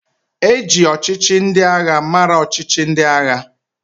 E ji ọchịchị ndị agha mara ọchịchị ndị agha.